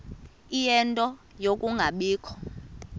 ie nto yokungabikho